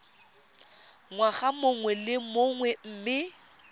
ngwaga mongwe le mongwe mme